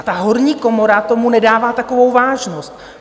A ta horní komora tomu nedává takovou vážnost.